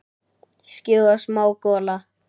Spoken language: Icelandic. Skýjað og smá gola.